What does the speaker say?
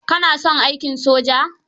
Ka na son aikin soja?